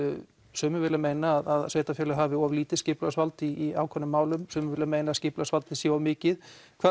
sumir vilja meina að sveitarfélög hafi of lítið skipulagsvald í ákveðnum málum sumir vilja meina að skipulagsvaldið sé of mikið